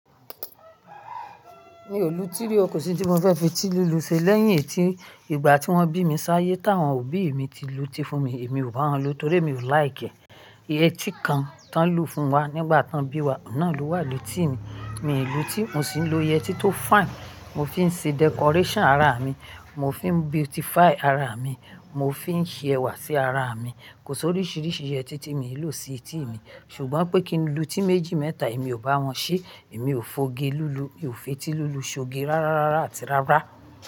Mi ò lùtí rí o, kò sí ń tí mo fẹ́ fi etílùlù ṣe lẹ́yìn etí. Ìgbà tí wọ́n bí mi sáyé táwọn òbí mi ti lùtí fún mi, èmi ò bá wọn lù torí mi ò like. Iyẹ́ tí kan tán lù fún wa nígbà tán bí wa, náà ló wà lẹ́tí mi. Mi ò lùtí, mo sì ń lo iyẹ́ tó fine. Mo fi ń ṣe decoration ara mi, mo fi ń beautify ara mi, mo fi ń ṣe ẹwà sí ara mi. Kò sí oríṣìíríṣìí yẹ́tí ti mìí lò sí etí mi. Ṣùgbọ́n pé kí n lùtí méjì mẹ́ta, èmi ò bá wọn ṣe. Èmi ò f'oge lùlù, mi ò fetí lùlù, ṣ'oge rárárárá àti rárá.